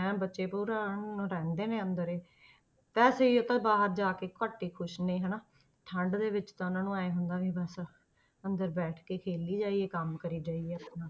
ਐਨ ਬੱਚੇ ਰਹਿੰਦੇ ਨੇ ਅੰਦਰ ਹੀ ਤੇ ਸਰੀਰ ਤਾਂ ਬਾਹਰ ਜਾ ਕੇ ਘੱਟ ਹੀ ਖ਼ੁਸ਼ ਨੇ ਹਨਾ, ਠੰਢ ਦੇ ਵਿੱਚ ਤਾਂ ਉਹਨਾਂ ਨੂੰ ਇਉਂ ਹੁੰਦਾ ਵੀ ਬਸ ਅੰਦਰ ਬੈਠ ਕੇ ਹੀ ਖੇਲੀ ਜਾਈਏ ਕੰਮ ਕਰੀ ਜਾਈਏ ਆਪਣਾ,